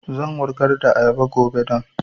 Zan wurgar da ayaba gobe don